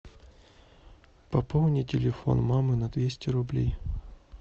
пополни телефон мамы на двести рублей